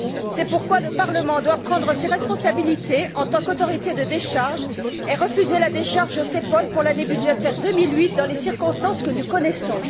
C'est pourquoi le Parlement doit prendre ses responsabilités en tant qu'autorité de décharge et refuser la décharge CEPOL pour l'année budgétaire 2008 dans les circonstances que nous connaissons.